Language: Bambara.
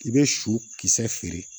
I bɛ su kisɛ feere